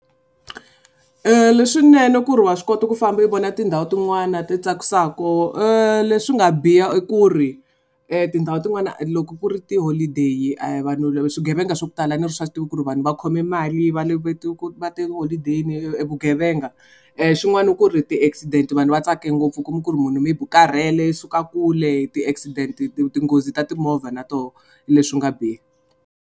Leswinene ku ri wa swi kota ku famba u vona tindhawu tin'wani ti tsakisaka leswi nga biha i ku ri tindhawu tin'wana loko ku ri ti-holiday vanhu swigevenga swa ku tala ni ri swa tiva ku ri vanhu va khome mali va le tiholideyi vugevenga xin'wanani i ku ri ti-accident vanhu va tsake ngopfu kuma ku ri munhu maybe u karhele i suka kule ti-accident tinghozi ta timovha na toho hi leswi nga biha.